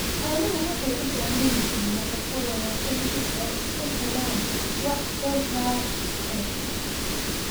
Xooluhu waxay u baahan yihiin nafaqo wanaagsan si ay u helaan wax soo saar wanaagsan.